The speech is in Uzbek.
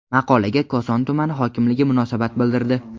Maqolaga Koson tuman hokimligi munosabat bildirdi.